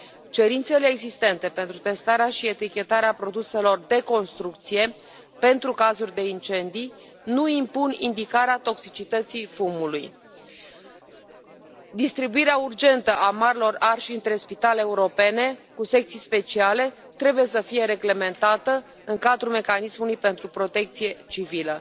Cerințele existente pentru testarea și etichetarea produselor de construcție pentru cazuri de incendii nu impun indicarea toxicității fumului. Distribuirea urgentă a marilor arși între spitale europene cu secții speciale trebuie să fie reglementată în cadrul mecanismului pentru protecție civilă.